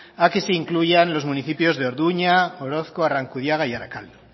a que se incluyan los municipios de orduña orozko arrankudiaga y arakaldo